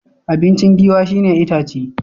Abinci Giwa shi ne itace.